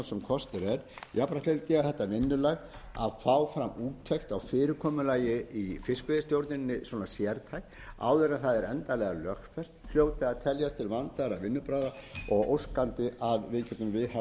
kostur er jafnframt vildi ég að þetta vinnulag að fá fram úttekt á fyrirkomulagi í fiskveiistjórnuninni svona sérstaka áður en það er endanlega lögfest hljóti að teljast til vandaðra vinnubragða og óskandi að við getum viðhaft slíkt vinnulag